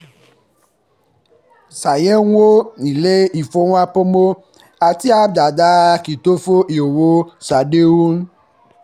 ṣàyẹ̀wò ilé-ìfowópamọ́ àti app dáadáa kí o tó fi owó ṣàdéhùn